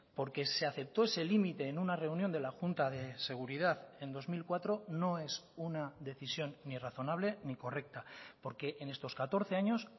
porque se aceptó ese límite en una reunión de la junta de seguridad en dos mil cuatro no es una decisión ni razonable ni correcta porque en estos catorce años